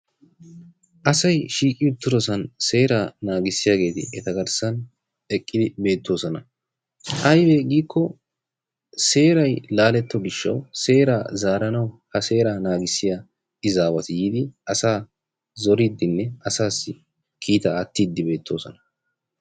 Asay shiiqqi uttidoosan eta seeraa naagissiyaageti eta garssaan eqqi beettoosona. aybee giikko seeray laaletti utto giishshawu seeraa zaaranawu ha seeraa naaganawu naagissiyaa iizzawati yiidi asaa zooridinne asaasi kiitaa aattidi beettoosona.